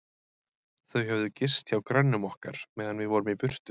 Þau höfðu gist hjá grönnum okkar, meðan við vorum í burtu.